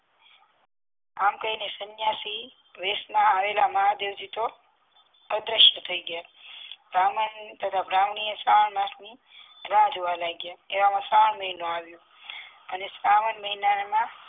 આમ કહીને સન્યાસી વેસ માં આવેલા મહાદેવજી તો અદ્રશ્ય થઈ ગ્યા બ્રાહ્મણ તથા બ્રાહ્મણી એ શ્રવણ માસ ની રાહ જોવા લાગ્યા એવા માં શ્રવણ મહિનો આવ્યો અને શ્રવણ મહિના માં